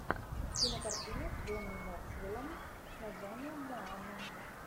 кинокартина с джонни ноксвилом с названием моана